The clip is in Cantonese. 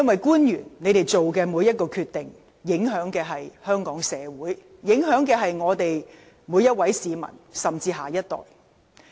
官員所作的每個決定，都會影響香港社會、每位市民甚至下一代。